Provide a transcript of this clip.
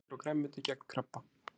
Ávextir og grænmeti gegn krabba